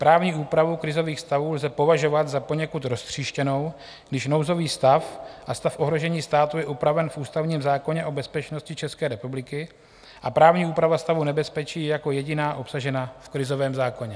Právní úpravu krizových stavů lze považovat za poněkud roztříštěnou, když nouzový stav a stav ohrožení státu je upraven v ústavním zákoně o bezpečnosti České republiky a právní úprava stavu nebezpečí je jako jediná obsažena v krizovém zákoně.